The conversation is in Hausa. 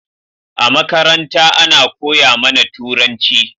A makaranta Ana koya mAna turanci